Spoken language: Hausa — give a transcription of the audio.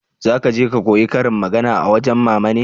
za ka je ka koya ƙarin magana a wajen mama ne?